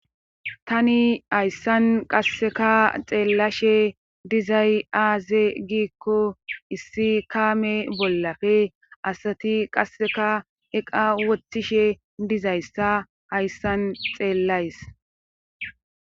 Tani hayssan qasseka xeellashe dizay aaze giikko issi kaame bollafe asati qasseka eqa wothtishe dizayssa hayssan xeellays